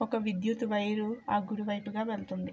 ఒక విద్యుత్ వైర్ ఆ గుడి వైపు గ వెళ్తుంది.